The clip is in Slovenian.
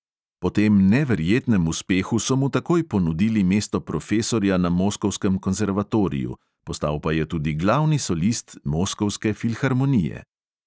Po tem neverjetnem uspehu so mu takoj ponudili mesto profesorja na moskovskem konzervatoriju, postal pa je tudi glavni solist moskovske filharmonije.